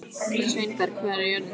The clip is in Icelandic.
Sveinberg, hvað er jörðin stór?